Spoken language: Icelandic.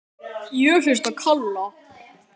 Ég hlusta á Kalla.